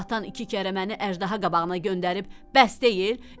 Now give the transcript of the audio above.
Atan iki kərə məni əjdaha qabağına göndərib, bəs deyil?